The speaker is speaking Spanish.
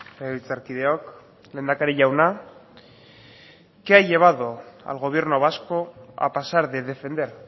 legebiltzarkideok lehendakari jauna qué ha llevado al gobierno vasco a pasar de defender